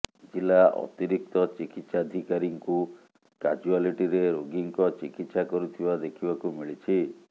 ଜିଲ୍ଲା ଅତିରିକ୍ତ ଚିକିତ୍ସାଧିକାରୀଙ୍କୁ କାଜୁଆଲିଟିରେ ରୋଗୀଙ୍କ ଚିକିତ୍ସା କରୁଥିବା ଦେଖିବାକୁ ମିଳିଛି